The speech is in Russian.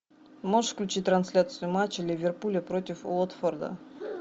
можешь включить трансляцию матча ливерпуля против уотфорда